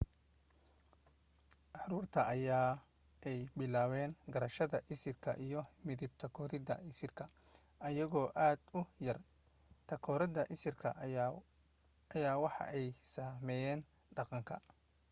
caruurtu waxa ay bilaaban garashada isirka iyo midab takooridda isirka ayagoo aad u yar takooriddan isirka waxa ay saameyaan dhaqanka